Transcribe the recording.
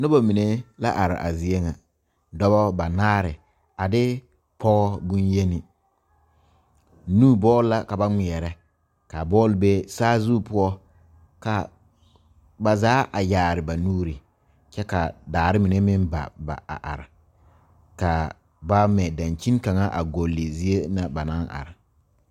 Noba mine la are a zie ŋa, dɔɔba banaare a de pɔge bonyeni nu bɔl la ka ba ŋmeɛrɛ ka bɔl be saazu poɔ ka ba zaa a yaare ba nuure kyɛ ka daare mine meŋ ba ba a are kaa ba ŋme dankyini kaŋa a gɔgle zie na ba naŋ are.